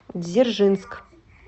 дзержинск